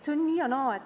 See on nii ja naa.